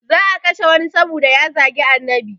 Za a kashe wani saboda ya zagi annabi